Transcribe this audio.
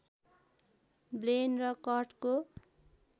ब्लेन र कर्टको